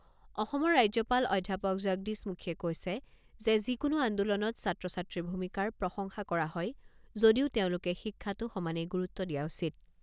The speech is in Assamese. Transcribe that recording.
অসমৰ ৰাজ্যপাল অধ্যাপক জগদীশ মুখীয়ে কৈছে যে যিকোনো আন্দোলনত ছাত্ৰ ছাত্ৰীৰ ভূমিকাৰ প্ৰশংসা কৰা হয় যদিও তেওঁলোকে শিক্ষাতো সমানে গুৰুত্ব দিয়া উচিত।